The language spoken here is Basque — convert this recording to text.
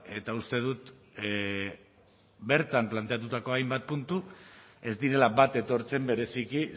eta uste dut bertan planteatutako hainbat puntu ez direla bat etortzen bereziki